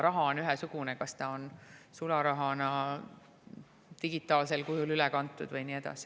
Raha on ikka ühesugune,, kas see on sularaha või digitaalsel kujul üle kantud.